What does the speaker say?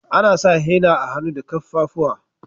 Ana sa henna a hannu da kaffafuwa.